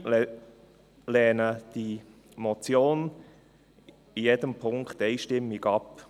Wir Grünen lehnen die Motion in jedem Punkt einstimmig ab.